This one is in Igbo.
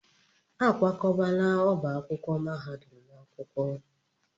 A kwakọbala ọba akwụkwọ mahadum n'akwụkwọ.